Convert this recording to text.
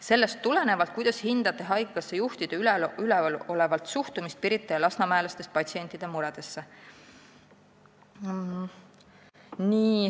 " Sellest tulenevalt, kuidas hindate haigekassa juhtide üleolevat suhtumist Pirita ja lasnamäelastest patsientide muredesse?